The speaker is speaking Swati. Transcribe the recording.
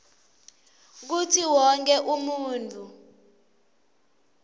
kutsi wonkhe muntfu